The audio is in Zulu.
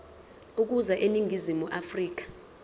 ukuza eningizimu afrika